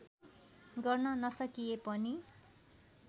गर्न नसकिए पनि